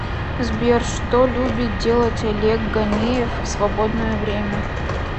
сбер что любит делать олег ганеев в свободное время